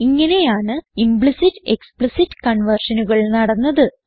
ഇങ്ങനെയാണ് implicit explicit കൺവേർഷനുകൾ നടന്നത്